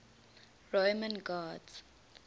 roman gods